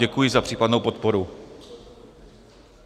Děkuji za případnou podporu.